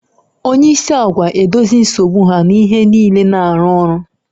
Onye isi agwa edozi nsogbu ha na ihe niile na-arụ ọrụ